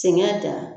Sɛŋɛ da